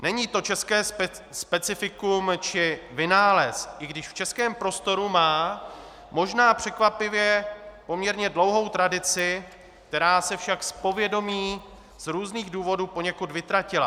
Není to české specifikum či vynález, i když v českém prostoru má možná překvapivě poměrně dlouhou tradici, která se však z povědomí z různých důvodů poněkud vytratila.